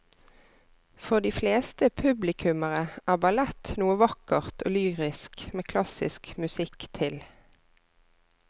For de fleste publikummere er ballett noe vakkert og lyrisk med klassisk musikk til.